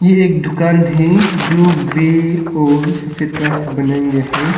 एक दुकान है जो ग्रे और सफेद कलर से बनाया गया है।